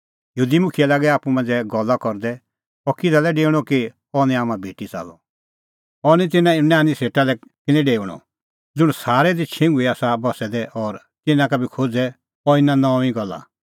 यहूदी मुखियै लागै आप्पू मांझ़ै गल्ला करदै अह इहअ किधा लै डेऊणअ कि अह निं हाम्हां भेटी च़ाल्लअ अह तिन्नां यूनानी सेटा लै किनी डेऊणअ ज़ुंण सारै दी छिंघुई आसा बस्सै दै और तिन्नां का बी खोज़े अह इना नऊंईं गल्ला